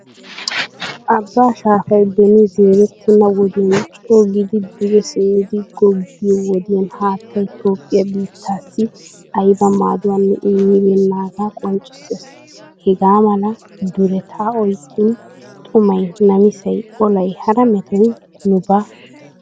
Abaa shaafay beni zeeretena wodiyan co gidi duge simmidi googiyo wodiyan haattaay toophphiyaa biittassi ayba maadduwaanne immibenaga qonccissees. Hegaamala duretta oyqqin xumay, namisay, olay hara metoy nu ba gidiis. Haako!